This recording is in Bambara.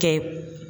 Kɛ